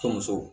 Tonso